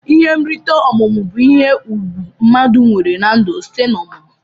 Ihe nrite ọmumụ bu ihe ugwu mmadu nwere na ndu site na ọmumụ.